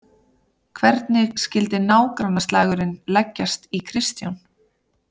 Hvernig skyldi nágrannaslagurinn leggjast í Kristján?